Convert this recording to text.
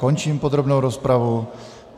Končím podrobnou rozpravu.